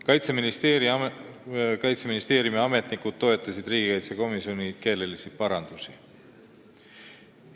Kaitseministeeriumi ametnikud toetasid riigikaitsekomisjoni keelelisi parandusi.